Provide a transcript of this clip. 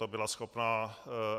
to bylo schopno